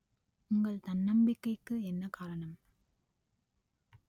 உங்கள் தன்னம்பிக்கைக்கு என்ன காரணம்